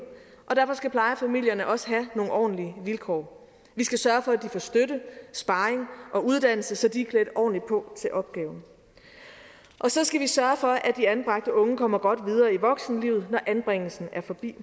og derfor skal plejefamilierne også have nogle ordentlige vilkår vi skal sørge for at de får støtte sparring og uddannelse så de er klædt ordentligt på til opgaven så skal vi sørge for at de anbragte unge kommer godt videre i voksenlivet når anbringelsen er forbi